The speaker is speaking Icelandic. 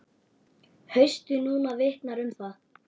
Haustið núna vitnar um það.